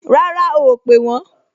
Rárá o ò pè wọ́n